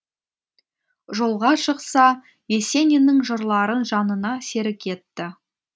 жолға шықса есениннің жырларын жанына серік етті